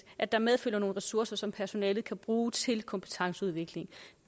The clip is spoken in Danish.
at der medfølger nogle ressourcer som personalet kan bruge til kompetenceudvikling